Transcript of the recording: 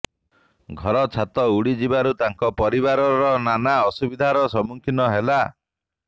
ଘର ଛାତ ଉଡିଯିବାରୁ ତାଙ୍କ ପରିବାର ନାନା ଅସୁବିଧାର ସମ୍ମୁଖୀନ ହେଲା